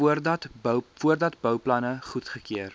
voordat bouplanne goedgekeur